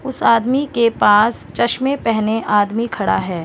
उस आदमी के पास चश्मे पहने आदमी खड़ा हैं।